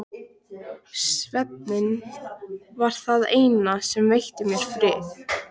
Svefninn var það eina sem veitti mér frið.